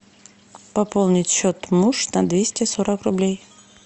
пополнить счет муж на двести сорок рублей